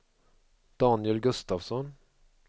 Daniel Gustavsson